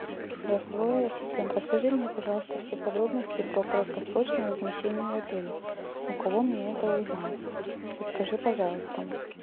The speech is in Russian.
голосовой ассистент расскажи мне пожалуйста все подробности про краткосрочное размещение в отеле у кого мне это узнать подскажи пожалуйста